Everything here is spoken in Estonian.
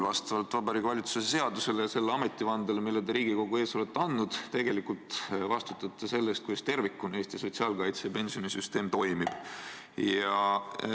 Vastavalt Vabariigi Valitsuse seadusele ja ametivandele, mille te Riigikogu ees olete andnud, te tegelikult vastutate selle eest, kuidas Eesti sotsiaalkaitse- ja pensionisüsteem tervikuna toimib.